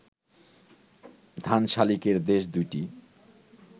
ধানশালিকের দেশ ২টি